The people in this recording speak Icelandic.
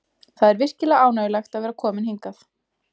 Það er virkilega ánægjulegt að vera kominn hingað.